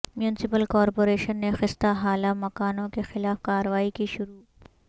municipal corporation نے خستہ حال مکانوں کے خلاف کارروائی کی شروع